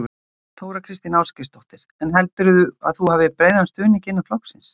Þóra Kristín Ásgeirsdóttir: En heldurðu að þú hafir breiðan stuðning innan flokksins?